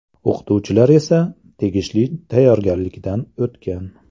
O‘qituvchilar esa tegishli tayyorgarlikdan o‘tgan.